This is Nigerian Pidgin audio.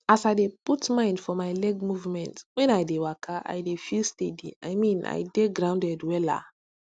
as i dey put mind for my leg movement when i dey waka i dey feel steady i mean i dey grounded wella